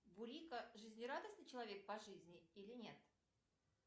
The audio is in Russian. бурико жизнерадостный человек по жизни или нет